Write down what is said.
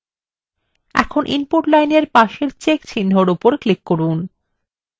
এখন input line এর পাশের check চিহ্নর উপর click করুন